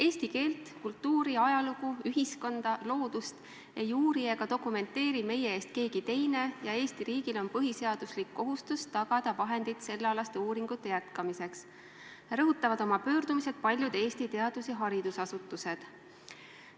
"Eesti keelt, kultuuri, ajalugu, ühiskonda, loodust ei uuri ega dokumenteeri meie eest keegi teine ja Eesti riigil on põhiseaduslik kohustus tagada vahendid sellealaste uuringute jätkamiseks," rõhutavad oma pöördumises paljud Eesti teadus- ja haridusasutused.